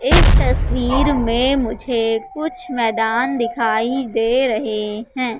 इस तस्वीर में मुझे कुछ मैदान दिखाई दे रहा है।